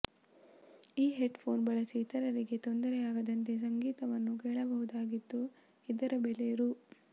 ಈ headphone ಬಳಸಿ ಇತರರಿಗೆ ತೊಂದರೆ ಆಗದಂತೆ ಸಂಗೀತವನ್ನು ಕೇಳಬಹುದಾಗಿದ್ದು ಇದರ ಬೆಲೆ ರು